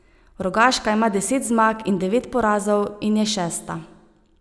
Rogaška ima deset zmag in devet porazov in je šesta.